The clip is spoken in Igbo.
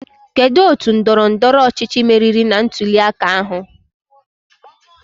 Kedụ otu ndọrọ ndọrọ ọchịchị meriri na ntuli aka ahụ?